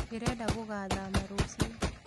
Ndĩrenda gũgathama rũciũ